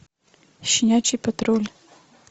щенячий патруль